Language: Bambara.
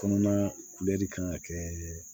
Kɔnɔna kulɛri kan ka kɛ